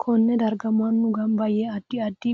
Konne darga mannu ganba yee addi addi